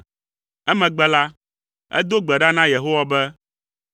Emegbe la, edo gbe ɖa na Yehowa be: